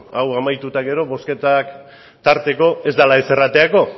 hau amaitu eta gero bozketak tarteko ez dela ezer aterako